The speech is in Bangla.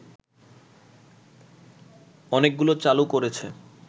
অনেকগুলো চালু করেছে